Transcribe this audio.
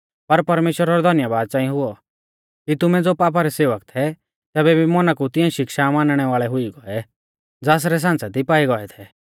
पर परमेश्‍वरा रौ धन्यबाद च़ांई हुऔ कि तुमै ज़ो पापा रै सेवक थै तैबै भी मौना कु तिऐं शिक्षा मानणै वाल़ै हुई गौऐ ज़ासरै सांच़ै दी पाई गौऐ थै